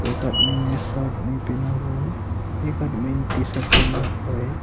एक आदमी ने शर्ट नहीं पहना हुआ है एक आदमी ने टी शर्ट पहना हुआ है।